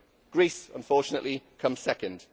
Greece unfortunately comes second.